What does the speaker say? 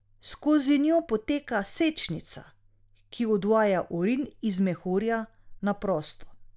Skozi njo poteka sečnica, ki odvaja urin iz mehurja na prosto.